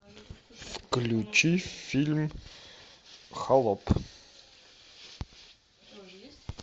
включи фильм холоп